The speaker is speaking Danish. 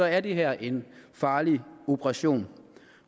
er det her en farlig operation